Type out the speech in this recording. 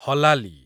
ହଲାଲି